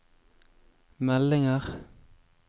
meldinger